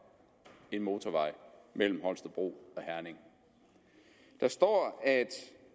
en motorvej mellem holstebro og herning der står at